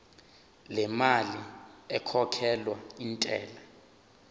lemali ekhokhelwa intela